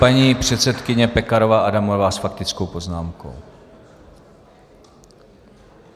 Paní předsedkyně Pekarová Adamová s faktickou poznámkou.